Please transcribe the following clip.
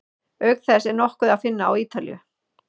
Auk þess er nokkur að finna á Ítalíu.